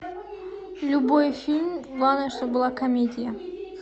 любой фильм главное чтобы была комедия